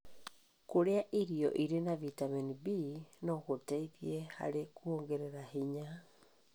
Kũrĩa irio irĩ na bitamini B no gũteithie harĩ kuongerera hinya.